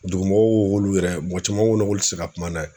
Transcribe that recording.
Dugumɔgɔw ko k'olu yɛrɛ mɔgɔ caman ko k'olu tɛ se ka kuma n'a ye.